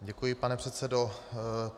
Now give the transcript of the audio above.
Děkuji, pane předsedo.